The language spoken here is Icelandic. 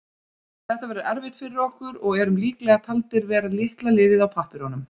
Þetta verður erfitt fyrir okkur og erum líklega taldir vera litla liðið á pappírunum.